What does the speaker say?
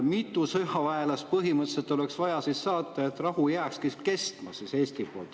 Mitu sõjaväelast põhimõtteliselt oleks vaja Eestist saata, et rahu jääkski kestma?